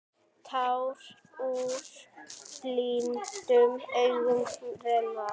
Tár úr blindum augum renna.